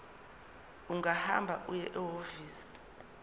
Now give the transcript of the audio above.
ungahamba uye ehhovisi